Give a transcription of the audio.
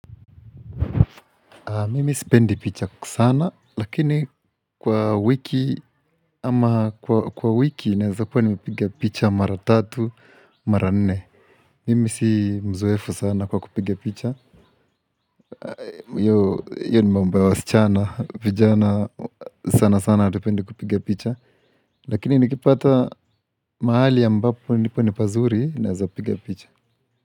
Mimi spendi picha sana, lakini kwa wiki, ama kwa wiki naeza kuwa nimepiga picha mara tatu, mara nne. Mimi si mzoefu sana kwa kupigia picha. Iyo ni mambo ya wasichana, vijana sana sana hatupendi kupiga picha. Lakini nikipata mahali ambapo nipo ni pazuri, naeza piga picha.